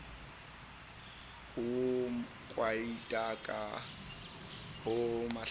ho kwadiaka ho hlakana a